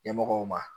Ɲɛmɔgɔw ma